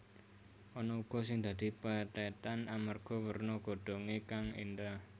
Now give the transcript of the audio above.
Ana uga sing dadi pethètan amarga werna godhongé kang éndah